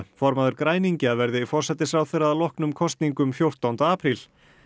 formaður græningja verði forsætisráðherra að loknum kosningum fjórtánda apríl